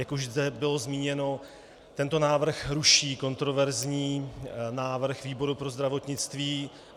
Jak už tady bylo zmíněno, tento návrh ruší kontroverzní návrh výboru pro zdravotnictví.